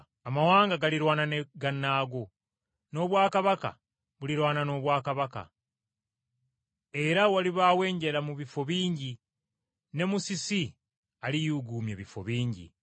Amawanga galirwana ne gannaago, n’obwakabaka bulirwana n’obwakabaka, era walibaawo enjala mu bifo bingi ne musisi aliyuuguumya ebifo bingi.